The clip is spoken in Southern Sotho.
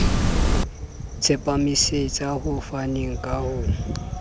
tsepamisetsa ho faneng ka ho